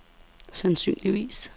sandsynligvis